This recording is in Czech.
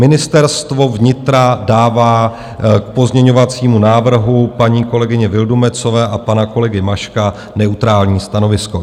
Ministerstvo vnitra dává k pozměňovacímu návrhu paní kolegyně Vildumetzové a pana kolegy Maška neutrální stanovisko.